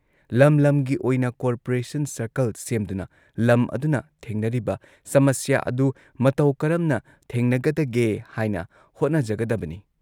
ꯂꯝ ꯂꯝꯒꯤ ꯑꯣꯏꯅ ꯀꯣꯔꯄꯔꯦꯁꯟ ꯁꯔꯀꯜ ꯁꯦꯝꯗꯨꯅ ꯂꯝ ꯑꯗꯨꯅ ꯊꯦꯡꯅꯔꯤꯕ ꯁꯃꯁ꯭ꯌꯥ ꯑꯗꯨ ꯃꯇꯧ ꯀꯔꯝꯅ ꯊꯦꯡꯅꯒꯗꯒꯦ ꯍꯥꯏꯅ ꯍꯣꯠꯅꯖꯒꯗꯕꯅꯤ ꯫